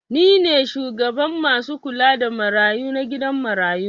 Ni ne shugaban masu kula da marayu na gidan marayu.